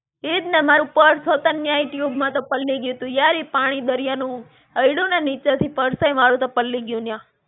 ઈજ ને, મારું purse હો તન ન્યાં tube માં તો પલળી ગયું તું. યાર ઈ પાણી દરિયાનું, અયડું ને નીચે થી purse હોય મારું તો પલળી ગયું ન્યાં.